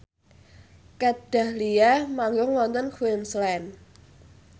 Kat Dahlia manggung wonten Queensland